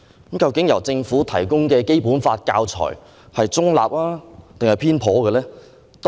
究竟政府提供的《基本法》教材是中立還是偏頗？